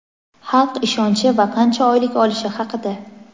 xalq ishonchi va qancha oylik olishi haqida.